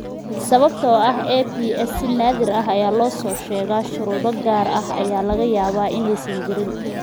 Sababtoo ah APS si naadir ah ayaa loo soo sheegaa, shuruudo gaar ah ayaa laga yaabaa inaysan jirin.